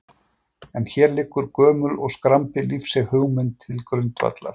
En hér liggur gömul og skrambi lífseig hugmynd til grundvallar.